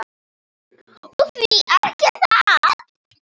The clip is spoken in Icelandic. Og því ekki það?